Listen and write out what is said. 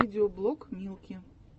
видеоблог милки